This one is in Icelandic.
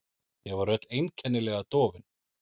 Ég var öll einkennilega dofin.